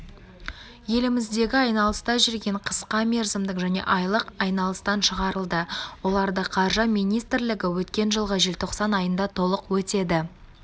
еліміздегі айналыста жүрген қысқа мерзімдік және айлық айналыстан шығарылды оларды қаржы министрлігі өткен жылғы желтоқсан айында толық өтеді